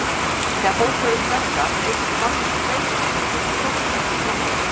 Þegar fólk verður stressað eykst magn streituhormónsins kortisóls í blóði.